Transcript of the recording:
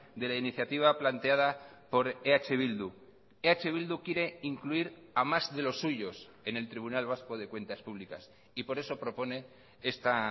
de la iniciativa planteada por eh bildu eh bildu quiere incluir a más de los suyos en el tribunal vasco de cuentas públicas y por eso propone esta